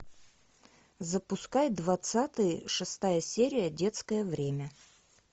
запускай двадцатый шестая серия детское время